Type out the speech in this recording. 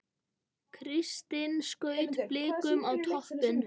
Kristinn skaut Blikum á toppinn